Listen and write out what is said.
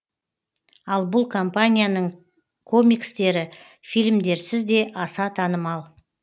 ал бұл компанияның комикстері фильмдерсіз де аса танымал